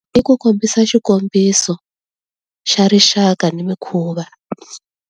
I ku kombisa xikombiso xa rixaka ni mikhuva.